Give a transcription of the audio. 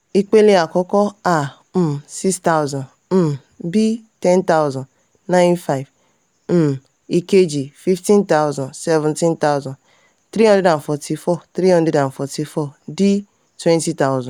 ipele àkọ́kọ́: a um six thousand um b ten thousand nine thousand five hundred. um ìkejì: fifteen thousand seventeen thousand three hundred forty four three hundred forty four d twenty thousand.